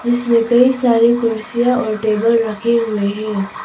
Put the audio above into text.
इसमें कई सारी कुर्सियां और टेबल रखे गए हैं।